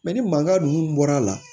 ni mankan ninnu bɔra a la